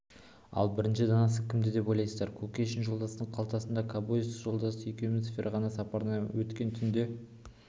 ал бірінші данасы кімде деп ойлайсыздар кушекин жолдастың қалтасында кобозев жолдас екеуміз ферғана сапарынан өткен түнде